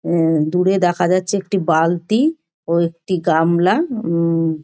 হুম দূরে দেখা যাচ্ছে একটি বালতি ও একটি গামলা হুম।